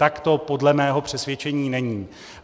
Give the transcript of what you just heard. Tak to podle mého přesvědčení není.